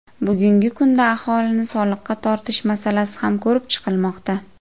Bugungi kunda aholini soliqqa tortish masalasi ham ko‘rib chiqilmoqda.